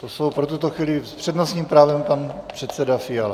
To jsou pro tuto chvíli... s přednostním právem pan předseda Fiala.